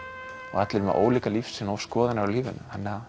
og allir með ólíka lífssýn og skoðanir á lífinu þannig að